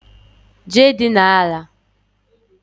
Jee dina àlà